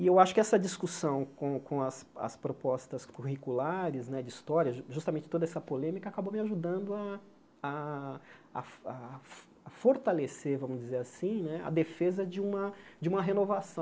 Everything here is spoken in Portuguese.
E eu acho que essa discussão com com as as propostas curriculares né de história, justamente toda essa polêmica, acabou me ajudando a a a a fortalecer, vamos dizer assim né, a defesa de uma de uma renovação.